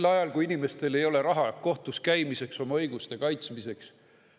Sel ajal, kui inimestel ei ole raha kohtus käimiseks ja oma õiguste kaitsmiseks.